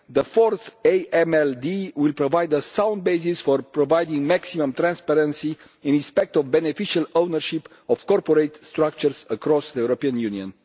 The Fourth AMLD will provide a sound basis for providing maximum transparency in respect of beneficial ownership of corporate structures across the European Union.